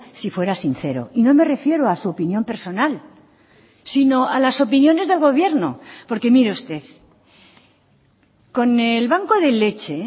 si fuera sincero y no me refiero a su opinión personal sino a las opiniones del gobierno porque mire usted con el banco de leche